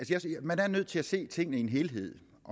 jeg synes at man er nødt til at se tingene i en helhed